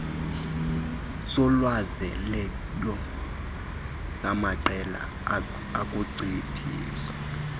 solwazelelo samaqela okunciphisa